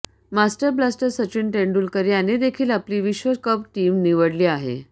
master blaster Sachin Tendulkar याने देखील आपली विश्वकप टीम निवडली आहे